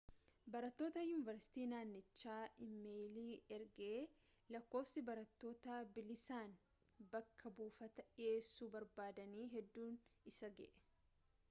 barattota yuunivarsitii naannichaatti iimeeyilii ergee lakkoofsi barattoota bilisaan bakka buufaataa dhiiyeessuu barbaadanii hedduun isa ga'e